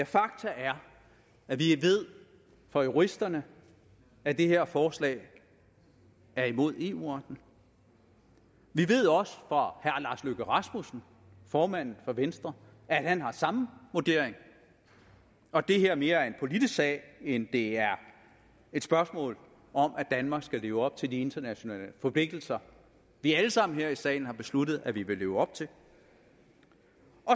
fakta er at vi ved fra juristerne at det her forslag er imod eu retten vi ved også fra herre lars løkke rasmussen formanden for venstre at han har samme vurdering og at det her mere er en politisk sag end det er et spørgsmål om at danmark skal leve op til de internationale forpligtelser vi alle sammen her i salen har besluttet at vi vil leve op til